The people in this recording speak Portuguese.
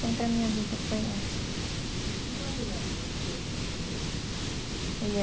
Sempre a minha vida foi essa. Com quantos anos você teve a sua primeira filha?